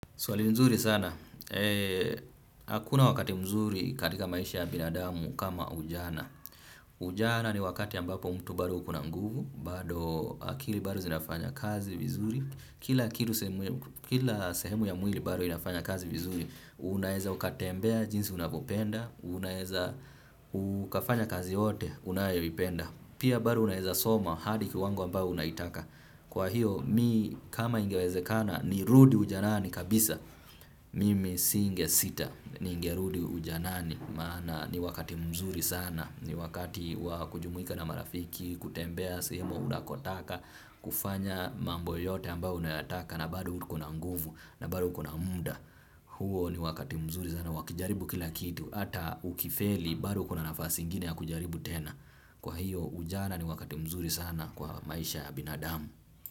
Swali nzuri sana, hakuna wakati mzuri katika maisha ya binadamu kama ujana, ujana ni wakati ambapo mtu bado ukona mguvu, bado akili bado zinafanya kazi vizuri, kila sehemu ya mwili bado inafanya kazi vizuri, unaeza ukatembea jinsi unavyopenda, unaeza ukafanya kazi yoyote unayoipenda, pia bado unaeza soma hadi kiwango ambao unaitaka. Kwa hiyo, mi kama ingewezekana, nirudi ujanani kabisa. Mimi singesita, ningerudi ujanani, maana ni wakati mzuri sana. Ni wakati wakujumwika na marafiki, kutembea, sehemu unakotaka, kufanya mambo yote ambao unataka na bado ukona nguvu, na bado ukona munda. Huo ni wakati mzuri sana wakujaribu kila kitu hata ukifeli bado kuna nafasi ingine ya kujaribu tena kwa hiyo ujana ni wakati mzuri sana kwa maisha ya binadamu.